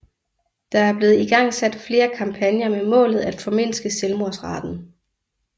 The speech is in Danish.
Der er blevet igangsat flere kampagner med målet at formindske selvmordsraten